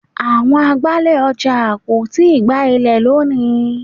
Àwọn agbálẹ̀ ọjà kò tíì gbá ilẹ̀ lónìí.